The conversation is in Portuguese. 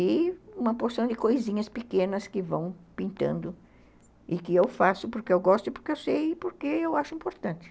E uma porção de coisinhas pequenas que vão pintando e que eu faço porque eu gosto e porque eu sei e porque eu acho importante.